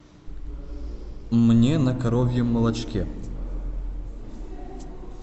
мне на коровьем молочке